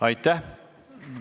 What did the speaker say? Aitäh!